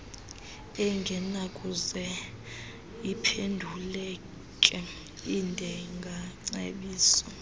engenakuze iphenduleke ndingacebisa